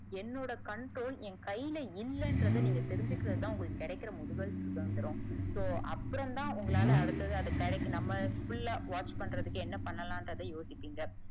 என்னுடைய controll என் கைல இல்லன்றத தெரிஞ்சிக்கிரதுதா உங்களுக்கு கிடைக்கிற முதல் சுதந்திரம் so அப்புறம் தான் உங்களால அடுத்தது அத கிடைக்கு நம்ம full லா watch பண்றதுக்கு என்ன பன்னலான்றதுக்கு யோசிப்பிங்க.